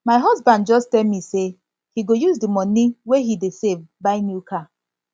my husband just tell me say he go use the money the money wey he dey save buy new car